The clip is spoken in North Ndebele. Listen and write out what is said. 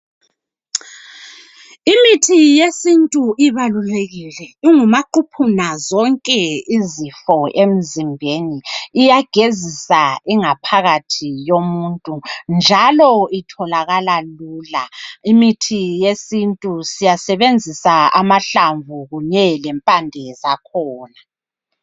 Imithi yesintu ibalulekile, ingumaquphuna zonke izifo emzimbeni. Iyagezisa ingaphakathi yomuntu, njalo itholakala lula. Imithi yesintu siyasebenzisa amahlamvu kunye lempande zakhona.